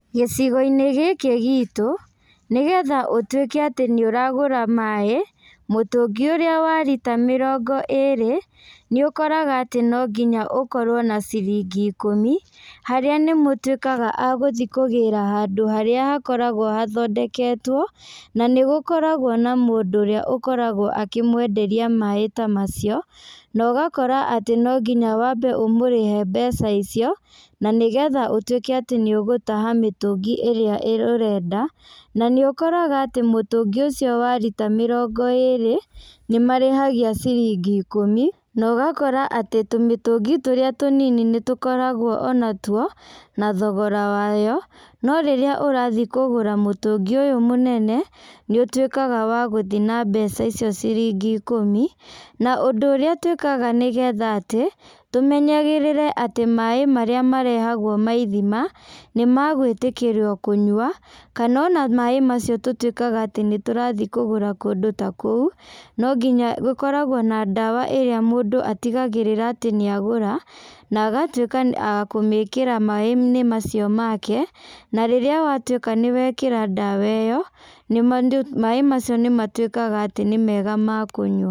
Gĩcigo-inĩ gĩkĩ gitũ nĩ getha ũtuĩke atĩ nĩ ũragũra maĩ, mũtũngi ũrĩa wa rita mĩrongo ĩrĩ, nĩ ũkoraga atĩ no nginya ũkorwo na ciringi ikũmi, harĩa nĩ mũtuĩkaga agũthiĩ kũgĩra handũ harĩa hakoragwo athondeketwo, na nĩgũkoragwo na mũndũ ũrĩa akoragwo akĩmwenderia maĩ ta macio, na ũgakora atĩ no nginya wambe ũmũrĩthe mbeca icio, na nĩ getha ũtuĩka atĩ nĩ ũgũtaha mĩtũngi ĩrĩa ĩ ũrenda, na nĩ ũkoraga atĩ mũtũngi ũcio wa rita mĩrongo ĩrĩ nĩ marĩhagia ciringi ikũmi, na ũgakora atĩ tũmĩtũngi tũrĩa tũnini nĩ tũkoragwo onatuo nathogora wayo, no rĩrĩa ũrathiĩ kũgũra mũtũngi ũyũ mũnene, nĩ ũtuĩkaga wa gũthiĩ na mbeca icio ciringi ikũmi, na andũ ũrĩa twĩkaga nĩ getha atĩ, tũmenyagĩrĩre atĩ maĩ marĩa marehagwo ma ithima, nĩ magũĩtĩkĩrwo kũnywa, kana ona maĩ macio tũtuĩkaga atĩ nĩ tũrathiĩ kũgũra kũndũ ta kũu, no nginya, gũkoragwo na ndawa ĩrĩa mũndũ atigagĩrĩra atĩ nĩ agũra, na agatuĩka a kũmĩkĩra maĩ-inĩ macio make, na rĩrĩa watuĩka nĩ wekĩra ndawa ĩyo, nĩ ma, maĩ macio nĩ ma tuĩkaga atĩ nĩ mega makũnyua.